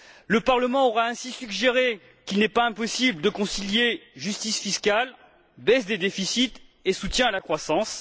Le Parlement aura ainsi suggéré qu'il n'est pas impossible de concilier justice fiscale, baisse des déficits et soutien à la croissance.